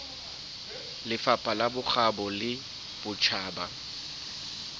lefapha la bokgabo le botjhaba